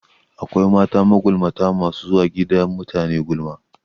Akwai mata magulmata masu zuwa gidan mutane gulma